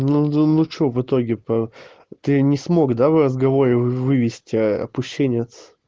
ну да ну что в итоге по ты не смог да в разговоре вывести опущениц